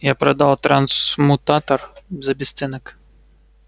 я продал трансмутатор за бесценок